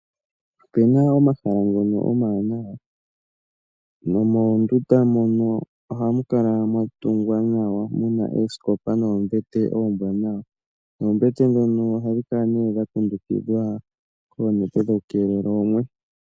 Opena omahala ngono omawanawa nomoondunda mono ohamukala mwatungwa nawa muna oosikopa noombete oombwanawa, noombete dhono ohadhi kala nee dha kundugidhwa koonete dhokukeelela oomwe